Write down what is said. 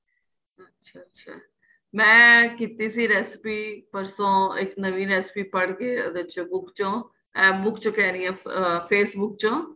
ਅੱਛਾ ਅੱਛਾ ਮੈਂ ਕੀਤੀ ਸੀ recipe ਪਰਸੋ ਇੱਕ ਨਵੀਂ recipe ਪੜ ਕੇ ਉਹਦੇ ਚ book ਚੋ ਏਹ book ਚੋ ਕਹਿ ਰਹੀ ਹਾਂ Facebook ਚੋ